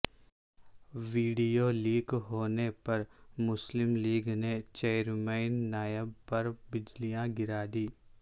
video leak ہونے پر مسلم لیگ ن نے چیئرمین نیب پر بجلیاں گرا دیں